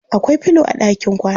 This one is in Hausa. Akwai filo a ɗakin kwana.